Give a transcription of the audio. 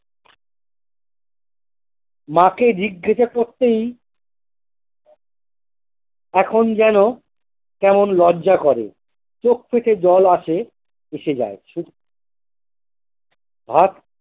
মাকে জিজ্ঞাসা করতেই এখন যেন কেমন লজ্জা করে চোখ থেকে জল আসে এসে যাই ভাত।